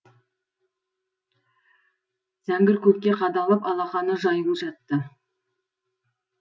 зеңгір көкке қадалып алақаны жаюлы жатты